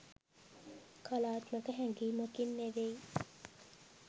කලාත්මක හැඟීමකින් නෙවෙයි.